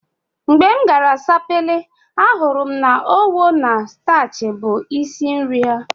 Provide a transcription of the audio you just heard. Mgbe m gara Sapele, ahụrụ m na Owo na Stachi bụ isi nri ha